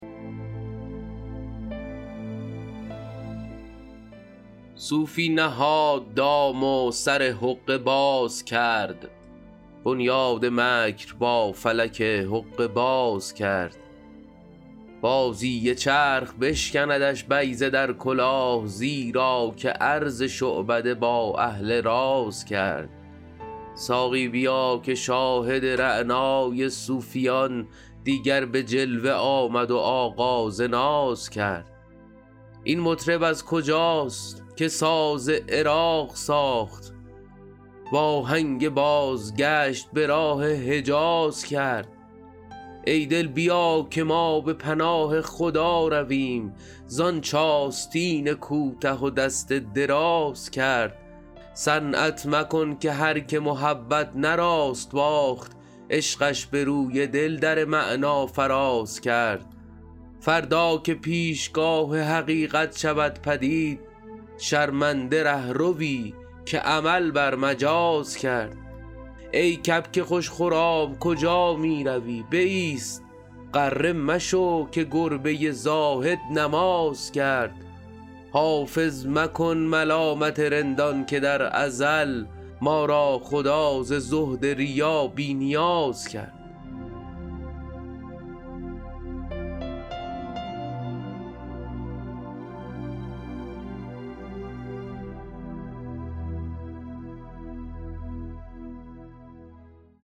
صوفی نهاد دام و سر حقه باز کرد بنیاد مکر با فلک حقه باز کرد بازی چرخ بشکندش بیضه در کلاه زیرا که عرض شعبده با اهل راز کرد ساقی بیا که شاهد رعنای صوفیان دیگر به جلوه آمد و آغاز ناز کرد این مطرب از کجاست که ساز عراق ساخت وآهنگ بازگشت به راه حجاز کرد ای دل بیا که ما به پناه خدا رویم زآنچ آستین کوته و دست دراز کرد صنعت مکن که هرکه محبت نه راست باخت عشقش به روی دل در معنی فراز کرد فردا که پیشگاه حقیقت شود پدید شرمنده رهروی که عمل بر مجاز کرد ای کبک خوش خرام کجا می روی بایست غره مشو که گربه زاهد نماز کرد حافظ مکن ملامت رندان که در ازل ما را خدا ز زهد ریا بی نیاز کرد